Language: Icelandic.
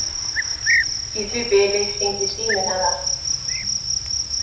Í því bili hringdi síminn hennar.